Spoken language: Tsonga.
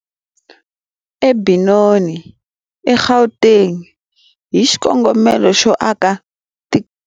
eBenoni, eGauteng, hi xikongomelo xo aka tikamara.